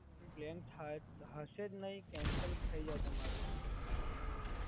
નહીં, પ્લાન હશે જ નહીં, કેન્સલ થય જાય તમારું.